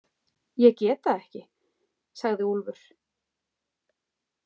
Ég get það ekki, sagði Úlfur.